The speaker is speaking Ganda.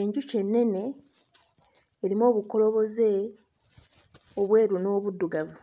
Enjuki ennene erimu obukoloboze obweru n'obuddugavu